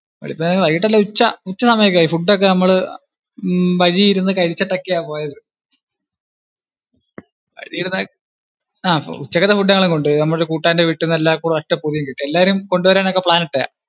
വൈകിട്ടല്ല, ഉച്ച~ ഉച്ച സമയം ഒക്കെ ആയി, food ഒക്കെ നമ്മള് വഴിയിരുന്നു കഴിച്ചിട്ടൊക്കെയാ പോയത്. വഴിയിരുന്നു, ആ ഉച്ചകലത്തേക്കുള്ള food ഒക്കെ നമ്മള് കൊണ്ട് പോയി. നമ്മടെ ഒരു കൂട്ടുകാരന്റെ വീട്ടീന്ന് എല്ലാർക്കും കൂടി ഒരൊറ്റ പൊതി കെട്ടി. എല്ലാവരും കൊണ്ടുവരാൻ ഒക്കെ plan ഇട്ടതാ.